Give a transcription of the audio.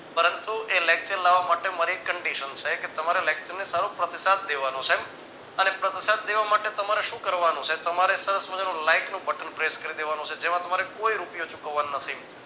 પરંતુ એ lecture લાવવા માટે મારી એક condition છે કે તમારે lecture ને સારો પ્રતિસાદ દેવાનો છે અને પ્રતિસાદ દેવા માટે તમારે શું કરવાનું છે તમારે સરસ મજાનું like નું button press કરી દેવાનું છે જેમાં તમારે કોઈ રૂપિયો ચૂકવવાનો નથી.